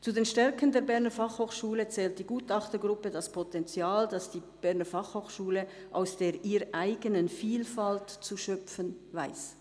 Zu den Stärken der Berner Fachhochschule zählt die Gutachtergruppe das Potenzial, das die Berner Fachhochschule aus der ihr eigenen Vielfalt zu schöpfen weiss».